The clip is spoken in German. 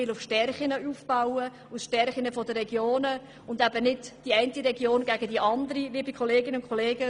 Man will auf die Stärken der Regionen schauen und eben nicht eine Region gegen die andere ausspielen.